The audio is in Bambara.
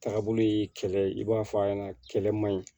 Taabolo ye kɛlɛ i b'a fɔ a ɲɛna kɛlɛ man ɲi